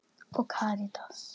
Stella heitir hún.